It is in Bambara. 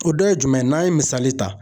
O dɔ ye jumɛn ye n'an ye misali ta